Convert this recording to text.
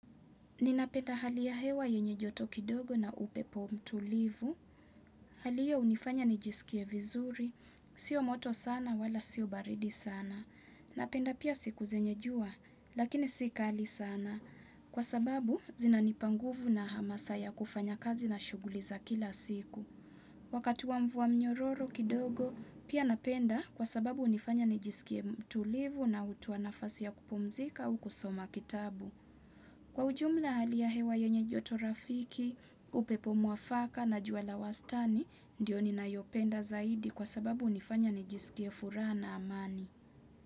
Ninapenda hali ya hewa yenye joto kidogo na upepo mtulivu. Halihiyo hunifanya nijisikie vizuri. Sio moto sana wala sio baridi sana. Napenda pia siku zenye jua, lakini sikali sana. Kwa sababu, zina nipanguvu na hamasaya kufanya kazi na shughuliza kila siku. Wakati wa mvua mnyororo kidogo, pia napenda kwa sababu hunifanya nijisikie tulivu na hutoanafasi ya kupumzika au kusoma kitabu. Kwa ujumla hali ya hewa yenye joto rafiki, upepo mwafaka na juala wastani, ndiyo ni na yopenda zaidi kwa sababu hunifanya nijisikie furaha na amani.